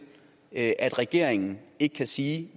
at regeringen ikke kan sige